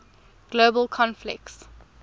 global conflicts